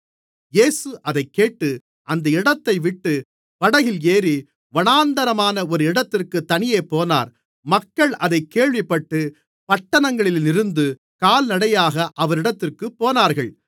இயேசு அதைக்கேட்டு அந்த இடத்தைவிட்டு படகில் ஏறி வனாந்திரமான ஒரு இடத்திற்குத் தனியே போனார் மக்கள் அதைக் கேள்விப்பட்டு பட்டணங்களிலிருந்து கால்நடையாக அவரிடத்திற்குப் போனார்கள்